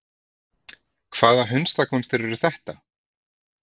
Hvaða hundakúnstir eru þetta!